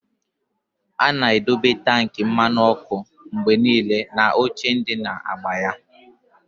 A na-edobe tankị mmanụ ọkụ mgbe niile na oche ndị na-agba ya.